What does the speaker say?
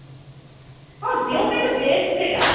ହଁ ଦେହ ପାଇଁ ତ best ସେଇଟା